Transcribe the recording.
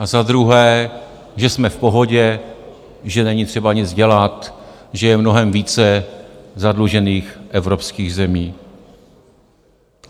A za druhé, že jsme v pohodě, že není třeba nic dělat, že je mnohem více zadlužených evropských zemí.